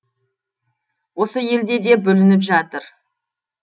осы елде де бүлініп жатыр